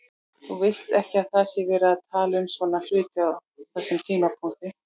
Þú vilt ekki að það sé verið að tala um svona hluti á þessum tímapunkti.